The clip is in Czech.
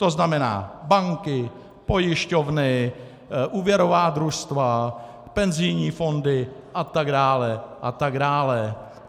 To znamená banky, pojišťovny, úvěrová družstva, penzijní fondy a tak dále a tak dále.